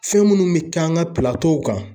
Fɛn minnu bɛ k'an ka kan